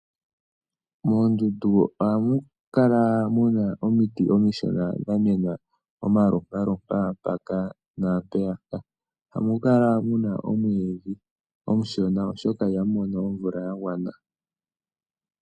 Moondundu ohamu kala mu na omiti omishona dha mena omalompaalompa mpaka naampeyaka. Ohamu kala mu na omwiidhi omushona, oshoka ihamu mono omvula ya gwana.